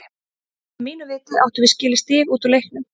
Að mínu viti áttum við skilið stig út úr leiknum.